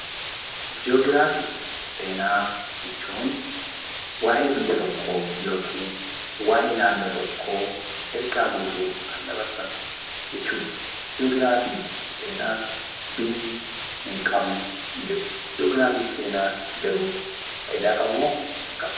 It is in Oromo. Ji'ograafiif seenaa jechuun waa'ee biyya tokkoo yokiin waa'ee naannoo tokkoo ergaa guutuu kan dabarsan jechuudha. Ji'ograafiif seenaa biyyi hinqabne hinjirtu. Ji'ograafiif seenaa garuu faayidaa qabamoo hin qabu?